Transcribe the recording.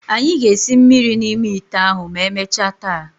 Anyị ga-esi mmiri n'ime ite ahụ ma emechaa taa.